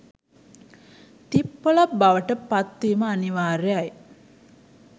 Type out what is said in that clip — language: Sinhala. තිප්පොළක් බවට පත් වීම අනිවාර්යයි.